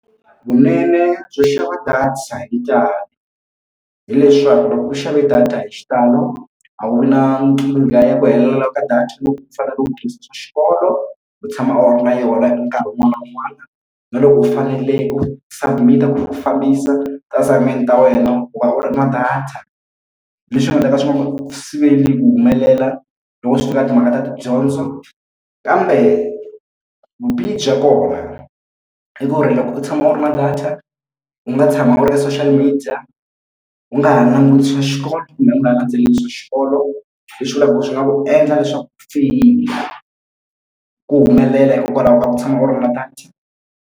Vunene byo xava data hi ntalo hileswaku loko u xave data hi xitalo a wu na nkingha ya ku helela ka data loko u fanele u tirhisa swa xikolo u tshama u ri na yona hi nkarhi wun'wani na wun'wani na loko u fanele u submit-a na ku fambisa ti-assignment ta wena ku va u ri na data leswi nga ta ka swi nga va u siveli ku humelela loko swi fika eka timhaka ta tidyondzo kambe vubihi bya kona i ku ri loko u tshama u ri na data u nga tshama u ri ka social media u nga ha languti xikolo kumbe u nga ha landzeleli swa xikolo leswi vulaka ku swi nga ku u endla leswaku u feyila ku humelela hikokwalaho ka ku tshama u ri na data.